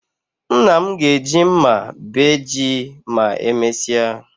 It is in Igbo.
Nna m ga-eji mma bee ji ma emesịa